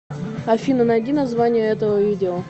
афина найди название этого видео